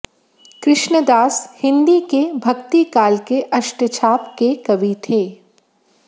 कृष्णदास हिन्दी के भक्तिकाल के अष्टछाप के कवि थे